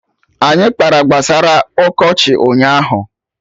Anyị kpara gbasara ọkọchị ụnyaahụ